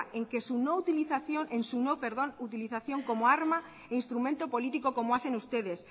en su no utilización como arma e instrumento político como hacen ustedes